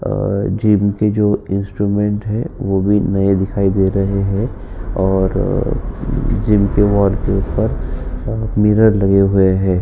Gym के जो instrument हैं वो भी नए दिखाई दे रहें हैं और जिम के वाल के ऊपर मिरर लगे हुए हैं।